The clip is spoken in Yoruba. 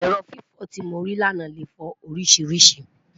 èrò fífi tí mori là nà lẹ fo orisirisii